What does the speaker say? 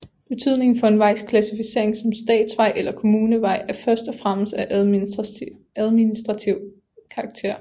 Betydningen for en vejs klassificering som statsvej eller kommunevej er først og fremmest af administrativ karakter